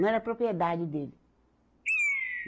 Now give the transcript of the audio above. Não era propriedade dele.